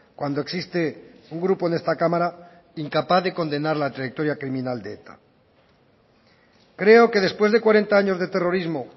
cuando existe un grupo en esta cámara incapaz de condenar la trayectoria criminal de eta creo que después de cuarenta años de terrorismo